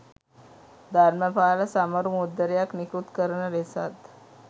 ධර්මපාල සමරු මුද්දරයක් නිකුත් කරන ලෙසත්